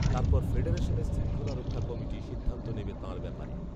তার পর ফেডারেশনের শৃংখলা রক্ষা কমিটি সিদ্ধান্ত নেবে তাঁর ব্যাপারে